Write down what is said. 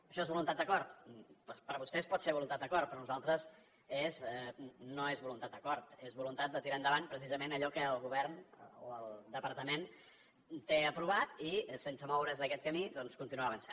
això és voluntat d’acord doncs per vostès pot ser voluntat d’acord per nosaltres no és voluntat d’acord és voluntat de tirar endavant precisament allò que el govern o el departament té aprovat i sense moure’s d’aquest camí doncs continuar avançant